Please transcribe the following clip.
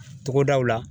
Togodaw la